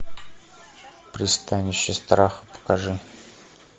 пристанище страха покажи